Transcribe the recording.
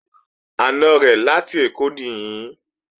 Àna rẹ̀ láti Èkó nìí